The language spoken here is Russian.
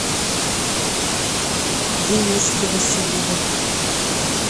дениски васильева